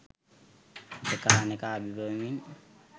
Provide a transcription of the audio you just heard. එකා අනෙකා අභිබවමින්